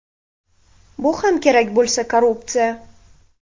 Bu ham kerak bo‘lsa korrupsiya.